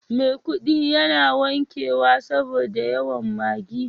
maikudi yana wankewa saboda yawan Maggi.